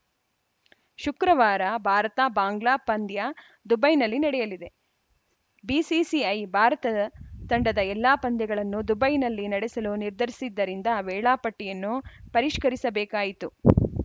ಶುಕ್ರವಾರ ಭಾರತಬಾಂಗ್ಲಾ ಪಂದ್ಯ ದುಬೈನಲ್ಲಿ ನಡೆಯಲಿದೆ ಬಿಸಿಸಿಐ ಭಾರತದ ತಂಡದ ಎಲ್ಲಾ ಪಂದ್ಯಗಳನ್ನು ದುಬೈನಲ್ಲೇ ನಡೆಸಲು ನಿರ್ಧರಿಸಿದ್ದರಿಂದ ವೇಳಾಪಟ್ಟಿಯನ್ನು ಪರಿಷ್ಕರಿಸಬೇಕಾಯಿತು